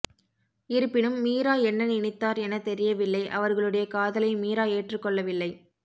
இருப்பினும் மீரா என்ன நினைத்தார் என தெரியவில்லை அவர்களுடைய காதலை மீரா ஏற்றுக் கொள்ளவில்லை